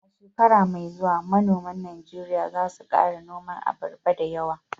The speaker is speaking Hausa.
A shekara mai zuwa manoman Najeriya za su kara noman abarba dayawa